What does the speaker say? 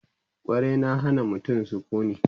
ƙwari na Hana mutum sukuni